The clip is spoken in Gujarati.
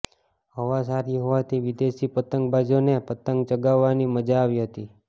હવા સારી હોવાથી વિદેશી પતંગબાજો ને પતંગ ચગાવવા ની મજા આવી હતી